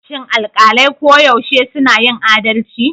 Shin alƙalai koyaushe suna yin adalci?